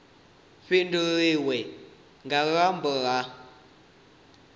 fhindulwe nga luambo lunwe na